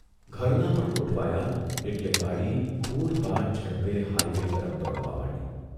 ઘરનાં પણ ગોઠવાયાં એટલે ગાડી પૂરપાટ ઝડપે હાઇ વે તરફ દોડવા માંડી.